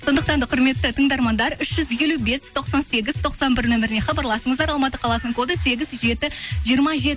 сондықтан да құрметті тыңдармандар үш жүз елу бес тоқсан сегіз тоқсан бір номеріне хабарласыңыздар алматы қаласының коды сегіз жеті жиырма